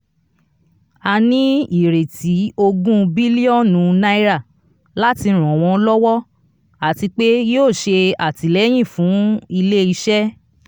a ní ìrètí ogún biliọnu naira láti ràn wọ́n lọ́wọ́ àti pé yíò ṣe atilẹyin fún ilé iṣẹ.